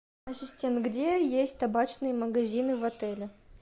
ассистент где есть табачные магазины в отеле